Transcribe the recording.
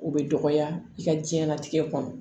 O bɛ dɔgɔya i ka diɲɛlatigɛ kɔnɔ